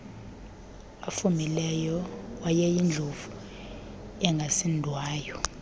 afumileyo wayeyindlovu engasindwayo